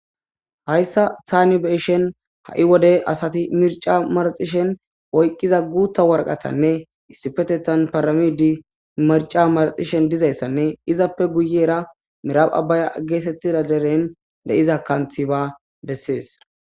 hayssa taanibeshen ha7i wodey asati mirca maraxishen oyqqiza guutta warqatanne issipetetan paramidi marca marxishen dizayssanne izappe guyera miraph abbaya geetettida deren de7iza kanthiba bessees